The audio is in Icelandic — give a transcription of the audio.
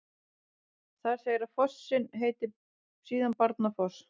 Þar segir að fossinn heiti síðan Barnafoss.